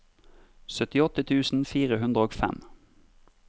syttiåtte tusen fire hundre og fem